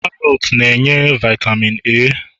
karots na-enye vitamin A